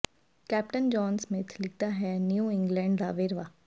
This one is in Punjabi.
ਕੈਪਟਨ ਜੌਨ ਸਮਿਥ ਲਿਖਦਾ ਹੈ ਨਿਊ ਇੰਗਲਡ ਦਾ ਵੇਰਵਾ